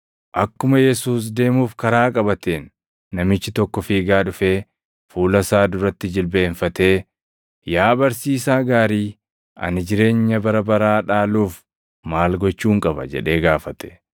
Akkuma Yesuus deemuuf karaa qabateen namichi tokko fiigaa dhufee fuula isaa duratti jilbeenfatee, “Yaa barsiisaa gaarii, ani jireenya bara baraa dhaaluuf maal gochuun qaba?” jedhee gaafate.